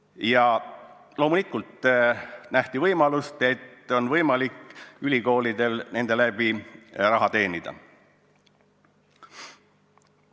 Ja loomulikult nähti võimalust, e nende kaudu on ülikoolidel võimalik raha teenida.